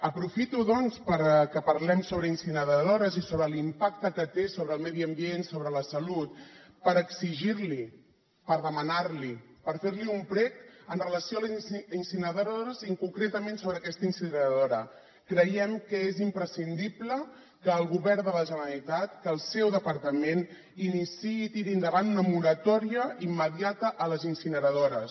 aprofito doncs que parlem sobre incineradores i sobre l’impacte que tenen sobre el medi ambient sobre la salut per exigir li per demanar li per fer li un prec amb relació a les incineradores i concretament sobre aquesta incineradora creiem que és imprescindible que el govern de la generalitat que el seu departament iniciï i tiri endavant una moratòria immediata a les incineradores